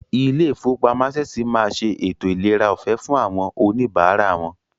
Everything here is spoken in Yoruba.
Ilé ìfowópamọ́ Access máa ṣe ètò ìlera ọ̀fẹ́ fún àwọn oníbàárà wọn.